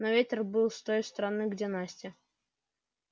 но ветер был с той стороны где настя